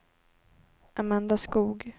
Amanda Skog